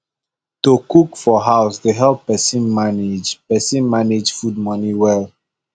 to cook for house dey help person manage person manage food money well